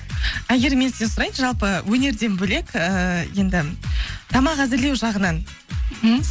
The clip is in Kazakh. әйгерім мен сізден сұрайыншы жалпы өнерден бөлек ііі енді тамақ әзірлеу жағынан мхм